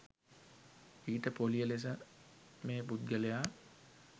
ඊට පොලිය ලෙස මේ පුද්ගලයා